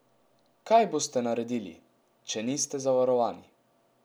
Kaj boste naredili, če niste zavarovani?